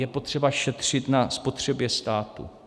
Je potřeba šetřit na spotřebě státu.